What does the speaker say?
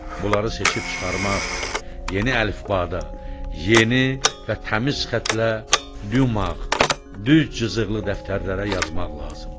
Bunları seçib çıxarmaq, yeni əlifbada, yeni və təmiz xətlə, dümağ, düz cızıqlı dəftərlərə yazmaq lazımdır.